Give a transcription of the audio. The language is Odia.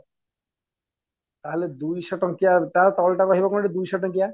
ତା ହେଲେ ଦୁଇଶହ ଟଙ୍କିଆ ତା ତଳ ଟା ରହିବ କଣ କି ଦୁଇଶହ ଟଙ୍କିଆ